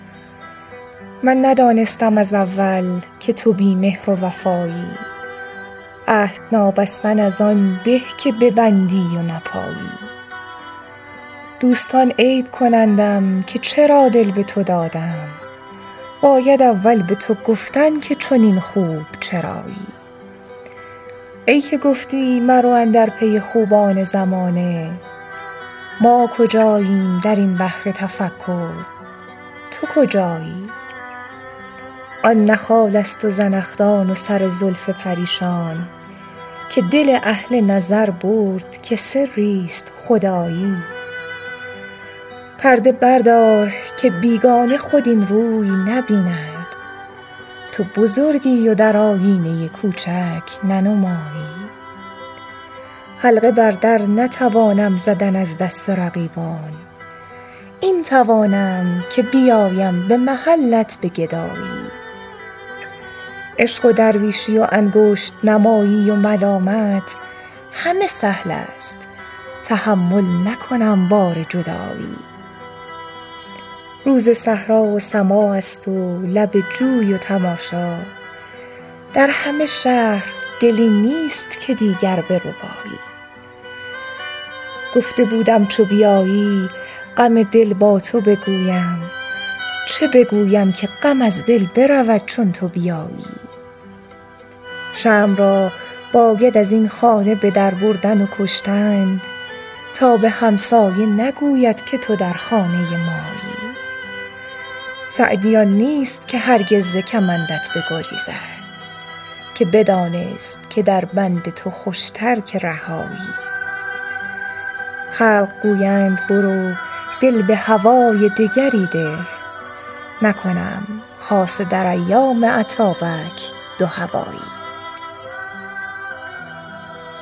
من ندانستم از اول که تو بی مهر و وفایی عهد نابستن از آن به که ببندی و نپایی دوستان عیب کنندم که چرا دل به تو دادم باید اول به تو گفتن که چنین خوب چرایی ای که گفتی مرو اندر پی خوبان زمانه ما کجاییم در این بحر تفکر تو کجایی آن نه خالست و زنخدان و سر زلف پریشان که دل اهل نظر برد که سریست خدایی پرده بردار که بیگانه خود این روی نبیند تو بزرگی و در آیینه کوچک ننمایی حلقه بر در نتوانم زدن از دست رقیبان این توانم که بیایم به محلت به گدایی عشق و درویشی و انگشت نمایی و ملامت همه سهلست تحمل نکنم بار جدایی روز صحرا و سماعست و لب جوی و تماشا در همه شهر دلی نیست که دیگر بربایی گفته بودم چو بیایی غم دل با تو بگویم چه بگویم که غم از دل برود چون تو بیایی شمع را باید از این خانه به در بردن و کشتن تا به همسایه نگوید که تو در خانه مایی سعدی آن نیست که هرگز ز کمندت بگریزد که بدانست که در بند تو خوشتر که رهایی خلق گویند برو دل به هوای دگری ده نکنم خاصه در ایام اتابک دوهوایی